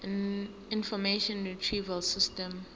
information retrieval system